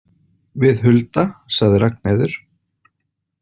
Við Hulda, sagði Ragnheiður.